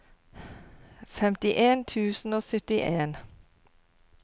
femtien tusen og syttien